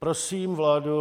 Prosím vládu...